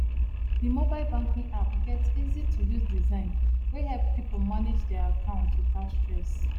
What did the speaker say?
the mobile banking app get easytouse design wey help people manage their account without stress